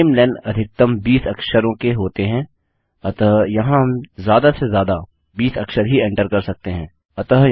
नमेलें अधिकतम 20 अक्षरों के होते हैं अतः यहाँ हम ज्यादा से ज्यादा 20 अक्षर ही एन्टर कर सकते हैं